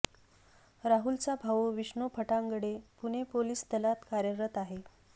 राहुलचा भाऊ विष्णू फटांगडे पुणे पोलीस दलात कार्यरत आहे